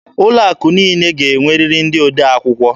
Ụlọ akụ niile ga-enwerịrị ndị odee akwụkwọ.